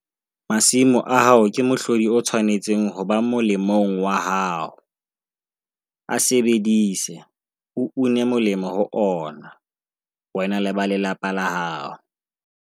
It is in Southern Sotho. Masimo a hao ke mohlodi o tshwanetseng ho ba molemong wa hao - a sebedise, o une molemo ho ona, wena le ba lelapa la hao.